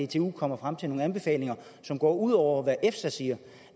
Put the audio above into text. dtu kommer frem til nogle anbefalinger som går ud over hvad efsa siger